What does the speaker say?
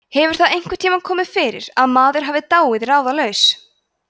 hefur það einhvern tíma komið fyrir að maður hafi dáið ráðalaus